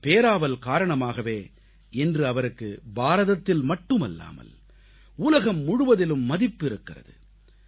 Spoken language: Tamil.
இந்தப் பேராவல் காரணமாகவே இன்று அவருக்கு பாரதத்தில் மட்டுமல்லாமல் உலகம் முழுவதிலும் மதிப்பு இருக்கிறது